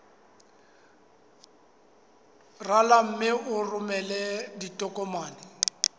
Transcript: rala mme o romele ditokomene